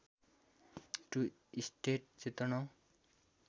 to states Chetan